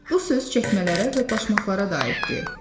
Bu söz çəkmələrə və başmaqlarə də aiddir.